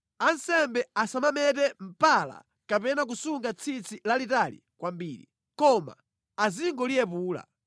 “ ‘Ansembe asamamete mpala kapena kusunga tsitsi lalitali kwambiri, koma azingoliyepula.